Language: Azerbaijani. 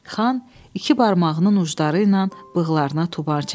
Xan iki barmağının ucları ilə bığlarına tubar çəkdi.